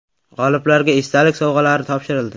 G‘oliblarga esdalik sovg‘alari topshirildi.